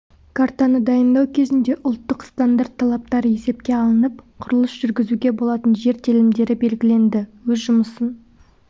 картаны дайындау кезінде ұлттық стандарт талаптары есепке алынып құрылыс жүргізуге болатын жер телімдері белгіленді өз жұмысын